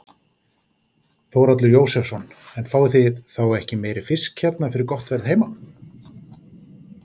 Þórhallur Jósefsson: En fáið þið þá ekki meiri fisk hérna fyrir gott verð heima?